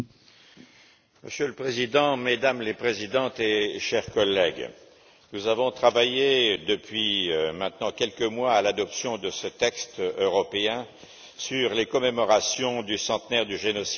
Monsieur le Président, Mesdames les Présidentes et chers collègues, nous travaillons depuis maintenant quelques mois à l'adoption de ce texte européen sur les commémorations du centenaire du génocide arménien.